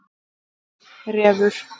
Refur